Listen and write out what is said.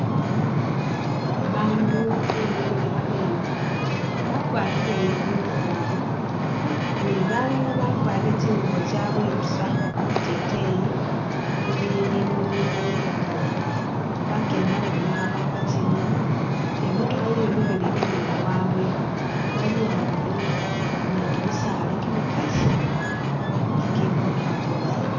Bandu bemikhile khabemba bakwarile uniform ne balala bakwarile tsingubo tsabwe buusa biteteyi bibilimo bimuli bikaali, bakeelema babili khabapa tsingoma ne i'motokha yemikhile inyuma wabwe, bali ambi ni kimisaala kimikaali kikibonekha bulaayi